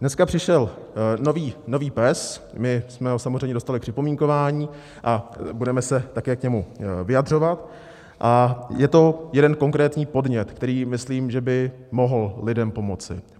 Dneska přišel nový PES, my jsme ho samozřejmě dostali k připomínkování a budeme se také k němu vyjadřovat a je to jeden konkrétní podnět, který, myslím, že by mohl lidem pomoci.